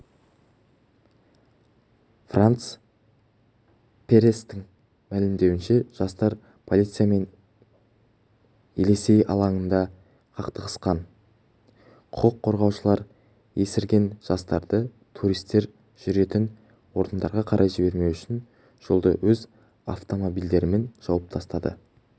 францс пресстің мәлімдеуінше жастар полициямен елесей алаңында қақтығысқан құқық қорғаушылар есірген жастарды туристер жүретін орындарға қарай жібермеу үшін жолды өз автомобильдерімен жауып тастады